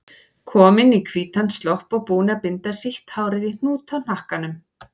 Komin í hvítan slopp og búin að binda sítt hárið í hnút í hnakkanum.